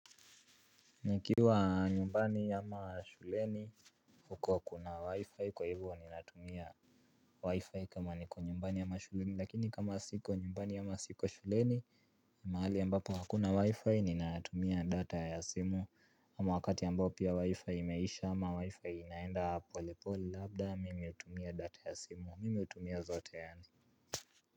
Nikiwa nyumbani ama shuleni huko kuna wi-fi kwa hivyo ninatumia wi-fi kama niko nyumbani ama shuleni lakini kama siko nyumbani ama siko shuleni ni mahali ambapo hakuna wi-fi ninatumia data ya simu ama wakati ambapo pia wi-fi imeisha ama wi-fi inaenda pole pole labda mimi hutumia data ya simu mimi hutumia zote yaani.